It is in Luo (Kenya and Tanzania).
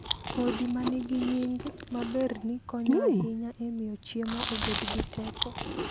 Kodhi ma nigi nying maberni konyo ahinya e miyo chiemo obed gi teko.